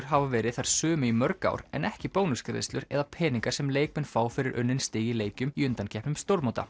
hafa verið þær sömu í mörg ár en ekki bónusgreiðslur eða peningar sem leikmenn fá fyrir unnin stig í leikjum í undankeppnum